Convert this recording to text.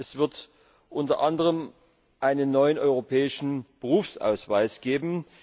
Es wird unter anderem einen neuen europäischen Berufsausweis geben.